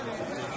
Bura salon.